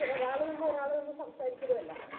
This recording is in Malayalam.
ഒരാള് നിന്ന് ഒരാള് നിന്ന് സംസാരിക്കലും അല്ല